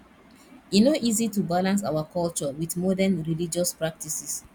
e no easy to balance our culture wit modern religious practices